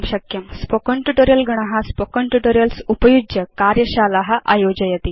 spoken tutorial गण spoken tutorials उपयुज्य कार्यशाला आयोजयति